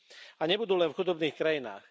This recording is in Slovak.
A nebudú len v chudobných krajinách.